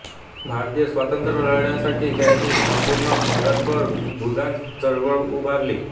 भारतीय स्वातंत्र्य लढ्यासाठी त्यांनी संपूर्ण भारतभर भूदान चळवळ उभारली